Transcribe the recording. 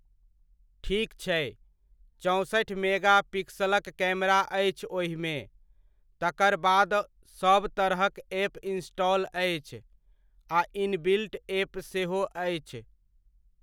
ठीक छै, चौंसठि मेगा पिक्स़लक कैमरा अछि ओहिमे, तकर बाद सब तरहक एप इनस्टॉल अछि आ इनबिल्ट एप सेहो अछि।